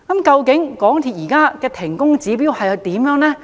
究竟港鐵公司現時的停工指標為何？